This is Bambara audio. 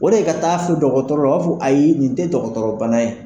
O de ka taa fo dɔgɔtɔrɔ u b'a fɔ ayi nin te dɔgɔtɔrɔ bana ye